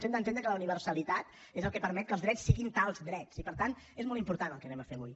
hem d’entendre que la universalitat és el que permet que els drets siguin tals drets i per tant és molt important el que farem avui